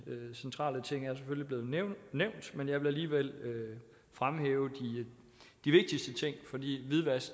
centrale ting er selvfølgelig blevet nævnt men jeg vil alligevel fremhæve de vigtigste ting for hvidvask